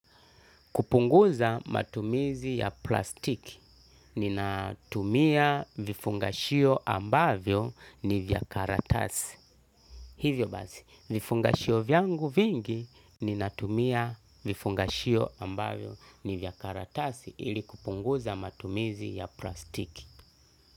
Kupunguza matumizi ya plastiki, ninatumia vifungashio ambavyo ni vya karatasi. Hivyo basi, vifungashio vyangu vingi ninatumia vifungashio ambavyo ni vya karatasi ili kupunguza matumizi ya plastiki.